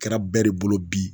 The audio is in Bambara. Kɛra bɛɛ de bolo bi